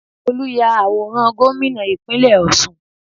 Olu ya àwòrán gómìnà Ìpínlẹ̀ Ọ̀ṣun